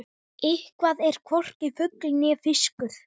Eitthvað er hvorki fugl né fiskur